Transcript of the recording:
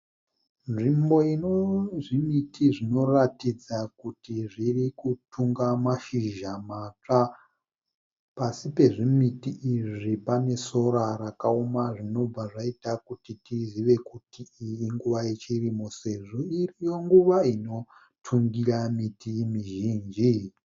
Nzvimbo inozvimiti zvinoratidza kuti zviri kutunga mashizha matsva. Pasi pezvimiti izvi pane sora rakaoma zvinobva zvaita kuti tizive kuti iyi inguva yechirimo sezvo iriyo nguva inotungira miti mizhinji.